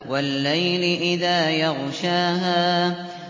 وَاللَّيْلِ إِذَا يَغْشَاهَا